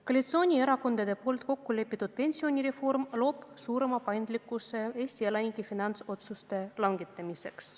Koalitsioonierakondade kokku lepitud pensionireform loob suurema paindlikkuse Eesti elanike finantsotsuste langetamiseks.